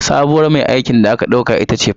Sabuwar mai aikin da aka ɗauka ita ce Fatima